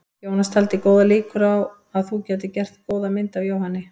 Jónas taldi góðar líkur á að þú gætir gert góða mynd af Jóhanni.